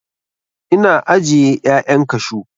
Ina ajiye 'ya'yan kashu.